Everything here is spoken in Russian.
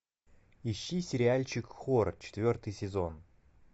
ищи сериальчик хор четвертый сезон